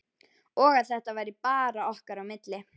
Og að þetta væri bara okkar á milli.